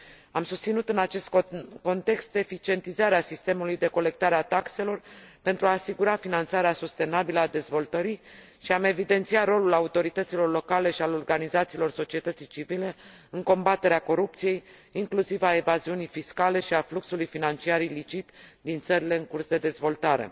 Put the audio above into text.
Am susținut în acest context eficientizarea sistemului de colectare a taxelor, pentru a asigura finanțarea sustenabilă a dezvoltării și am evidențiat rolul autorităților locale și al organizațiilor societății civile în combaterea corupției, inclusiv a evaziunii fiscale și a fluxului financiar ilicit din țările în curs de dezvoltare.